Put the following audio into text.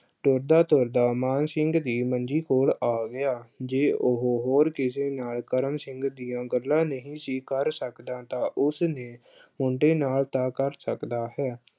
ਤੁਰਦਾ-ਤੁਰਦਾ ਮਾਨ ਸਿੰਘ ਦੀ ਮੰਜ਼ੀ ਕੋਲ ਆ ਗਿਆ, ਜੇ ਉਹੋ ਹੋਰ ਕਿਸੇ ਨਾਲ ਕਰਮ ਸਿੰਘ ਦੀਆਂ ਗੱਲਾਂ ਨਹੀਂ ਸੀ ਕਰ ਸਕਦਾ ਤਾਂ ਉਸਦੇ ਅਹ ਮੁੰਡੇ ਨਾਲ ਤਾਂ ਕਰ ਸਕਦਾ ਹੈ।